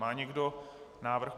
Má někdo návrh?